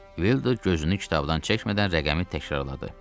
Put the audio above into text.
Vildur gözünü kitabdan çəkmədən rəqəmi təkrarladı.